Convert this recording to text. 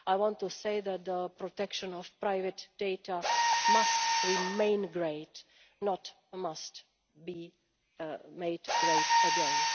partners. I would say that the protection of private data must remain great, not be made great